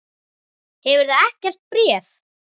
Hefurðu ekkert bréf?